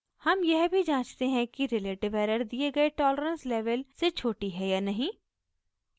हम यह भी जाँचते हैं कि relative एरर दिए गए tolerance लेवल से छोटी है या नहीं